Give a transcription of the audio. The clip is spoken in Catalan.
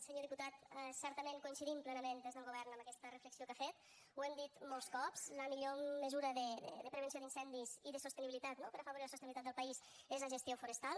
senyor diputat certament coincidim plenament des del govern amb aquesta reflexió que ha fet ho hem dit molts cops la millor mesura de prevenció d’incendis i de sostenibilitat no per a afavorir la sostenibilitat del país és la gestió forestal